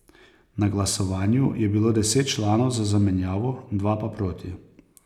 Na glasovanju je bilo deset članov za zamenjavo, dva pa proti.